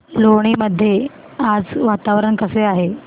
लोणी मध्ये आज वातावरण कसे आहे